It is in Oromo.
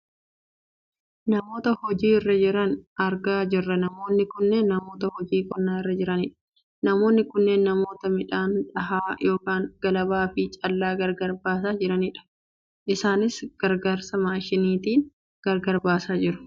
Namoota hojii irra jiran argaa jirra namoonni kunneen namoota hojii qonnaa irra jiranidha. namoonni kunneen namoota midhaan dhahaa yookaan galabaa fi callaa gargar baasaa jiranidha. Isaanis gargaarsa maashiniitiin gargar baasaa jiru.